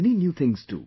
many new things too